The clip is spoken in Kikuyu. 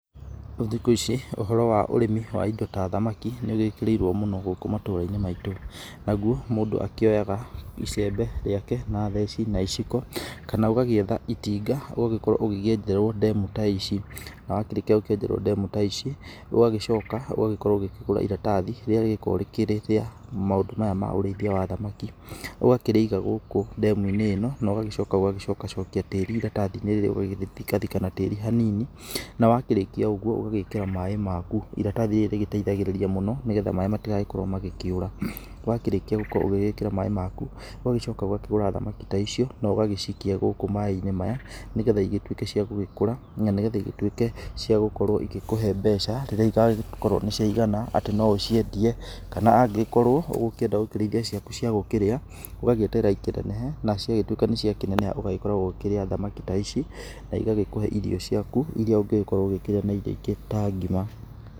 Thikũ ici ũhoro wa ũrĩmi ta wa thamaki nĩ wĩkĩrĩirwo mũno gũkũ matũra-inĩ maitũ, naguo mũndũ akĩoyaga icembe rĩake na theci na iciko. Kana ũgagĩetha itinga ũgagĩkorwo ũkĩenjerwo ndemu ta ici. Wa kĩrĩkia gũkĩenjerwo ndemu ta ici ũgagĩcoka ũgakorwo ũgĩkĩgura iratathi rĩrĩa rĩgĩkoragwo rĩkĩrĩ rĩa ũrĩithia wa thamaki. Ũgakĩrĩiga gũkũ ndemu-inĩ ĩno ũgagĩcoka ũgagĩcokacokia tĩrĩ iratathi-inĩ rĩu ũgagĩthika thika na tĩri ha nini. Na wakĩrĩkia ũgũo ũgagĩkĩra maaĩ maku iratathi rĩrĩ rĩgĩteithagĩrĩria mũno nĩ getha maaĩ matigakorwo magĩkĩũra. Wakĩrĩkia gũgĩkorwo ũgĩgĩkĩra maaĩ maku ũgagĩcoka ũgakĩgũra thamaki ta icio na ũgagĩcikia gũkũ maaĩ-inĩ maya nĩ getha igĩtuĩke cia gũgĩkũra na getha ituĩke ciagũkorwo igĩkũhe mbeca rirĩa igagĩkorwo atĩ nĩ ciaigana ataĩ no ũciendie kana angĩgĩkorwo ũgũkĩenda gũkĩrĩithia ciaku ciagũkĩrĩa, ũgagĩeterera ikinenehe na cia gĩtuĩka nĩ ciakĩneneha ũgagĩkoragwo ũkĩrĩa thamaki ta ici na igagĩkũhe irio ciaku iria ũngĩgĩkorwo ũgĩkĩrĩa na indo ingĩ ta ngima.